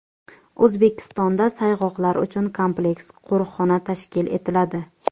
O‘zbekistonda sayg‘oqlar uchun kompleks qo‘riqxona tashkil etiladi.